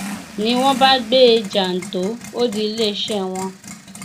ni wọn bá gbé e jàǹtò ó di iléeṣẹ wọn